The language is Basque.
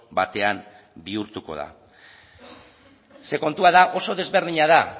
batean bihurtuko da ze kontua da oso desberdina da